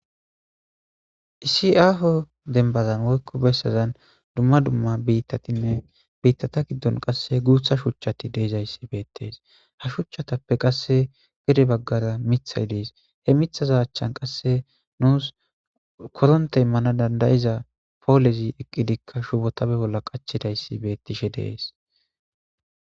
Isi'aaho dembazan woykko bessazan dumma dumma biittatinne biittata giddon qasse guutha shuchchati deeizayssi beettees ha shuchchatappe qasse gede baggara mithay dees he mithaza achchan qasse nuus koronte immana dandayiza poolezi eqqidikka shubotabe bolla qachidayssi beettishe dees.